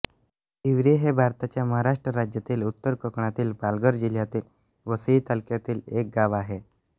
तिवरी हे भारताच्या महाराष्ट्र राज्यातील उत्तर कोकणातील पालघर जिल्ह्यातील वसई तालुक्यातील एक गाव आहे